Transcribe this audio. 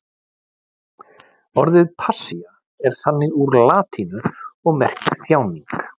Orðið passía er komið úr latínu og merkir þjáning.